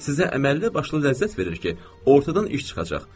Sizə əməlli başlı ləzzət verir ki, ortadan iş çıxacaq.